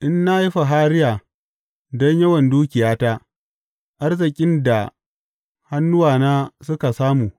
in na yi fahariya don yawan dukiyata, arzikin da hannuwana suka samu.